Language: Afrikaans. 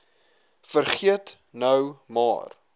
vergeet nou maar